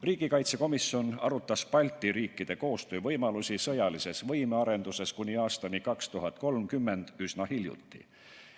Riigikaitsekomisjon arutas Balti riikide koostöövõimalusi sõjalise võime arendamisel kuni aastani 2030 üsna hiljuti.